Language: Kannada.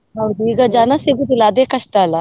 ಹೌದು ಈಗ ಜನ ಸಿಗೋದಿಲ್ಲ ಅದೇ ಕಷ್ಟ ಅಲ್ಲಾ?